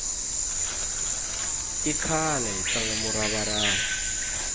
i khale hi tlanga murava rava